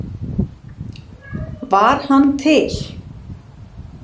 Var hann til?